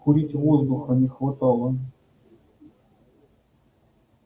курить воздуха не хватало